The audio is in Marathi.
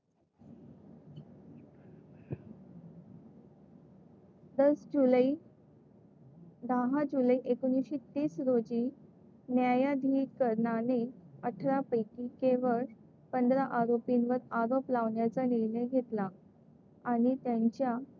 दस जुलै दहा जुलै एकोणीसशे तीस रोजी न्यायाधिकरणाने अठरा पैकी केवळ पंधरा आरोपींवर आरोप लावण्याचा निर्णय घेतला आणि त्यांच्या,